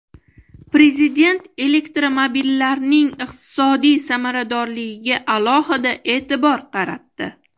Prezident elektromobillarning iqtisodiy samaradorligiga alohida e’tibor qaratdi.